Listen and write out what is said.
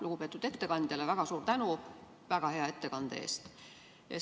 Lugupeetud ettekandja, väga suur tänu väga hea ettekande eest!